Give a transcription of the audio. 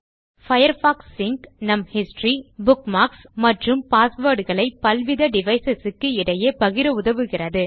Firefox sync நம் history bookmarks மற்றும் password களை பல்வித டிவைஸ் க்கு இடையே பகிர உதவுகிறது